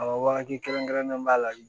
A wagati kɛrɛnkɛrɛnnen b'a la